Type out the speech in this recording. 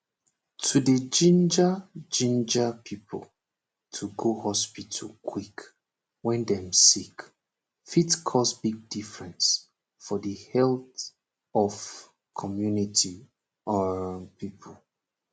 to dey ginger ginger pipo to go hospital quick wen dem sick fit cause big difference for the health of comunity um pipo